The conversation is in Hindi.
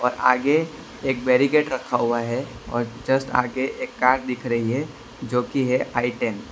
आगे एक बैरिकेड रखा हुआ है और जस्ट आगे एक कार दिख रही है जो की है आई टेन ।